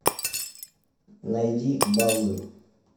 найди балую